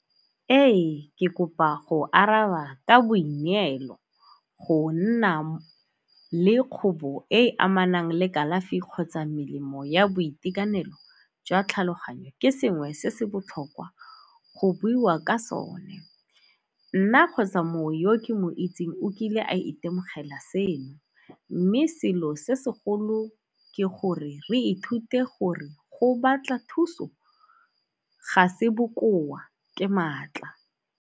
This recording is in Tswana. Ee, ke kopa go araba ka boineelo. Go nna le kgobo e e amanang le kalafi kgotsa melemo ya boitekanelo jwa tlhaloganyo ke sengwe se se botlhokwa go buiwa ka sone. Nna kgotsa motho yo ke mo itseng o kile a itemogela seno, mme selo se segolo ke gore re ithute gore go batla thuso ga se bokoa ke maatla.